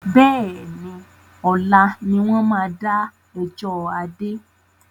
Bẹ́ẹ̀ni, ọ̀la ni wọn máa da ẹjọ́ Adé.